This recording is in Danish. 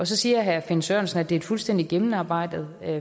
så siger herre finn sørensen at det er et fuldstændig gennemarbejdet